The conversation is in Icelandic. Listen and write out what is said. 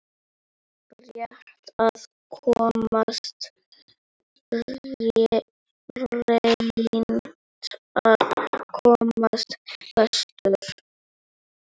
Reynt að komast vestur